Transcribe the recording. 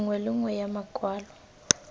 nngwe le nngwe ya makwalo